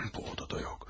Bu odada yox.